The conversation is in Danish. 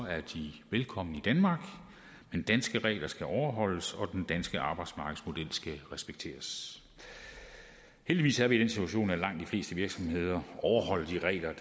er de velkomne i danmark men danske regler skal overholdes og den danske arbejdsmarkedsmodel skal respekteres heldigvis er vi i den situation at langt de fleste virksomheder overholder de regler